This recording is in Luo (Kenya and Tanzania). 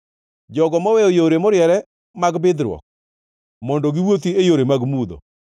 jogo moweyo yore moriere mag bidhruok, mondo giwuothi e yore mag mudho,